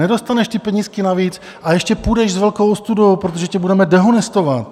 Nedostaneš ty penízky navíc a ještě půjdeš s velkou ostudou, protože tě budeme dehonestovat.